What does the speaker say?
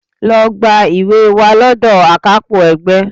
Lọ gba ìwé wá lọ́dọ̀ akápò ẹgbẹ́